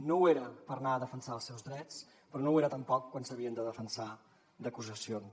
no ho era per anar a defensar els seus drets però no ho era tampoc quan s’havien de defensar d’acusacions